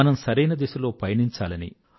మనం సరైన దిశలో పయనించాలని